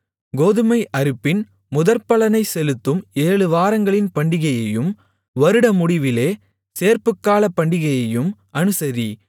கோதுமை அறுப்பின் முதற்பலனைச் செலுத்தும் ஏழு வாரங்களின் பண்டிகையையும் வருடமுடிவிலே சேர்ப்புக்கால பண்டிகையையும் அனுசரி